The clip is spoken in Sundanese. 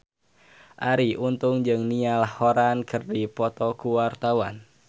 Arie Untung jeung Niall Horran keur dipoto ku wartawan